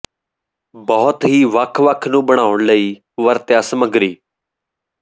ਬਹੁਤ ਹੀ ਵੱਖ ਵੱਖ ਨੂੰ ਬਣਾਉਣ ਲਈ ਵਰਤਿਆ ਸਮੱਗਰੀ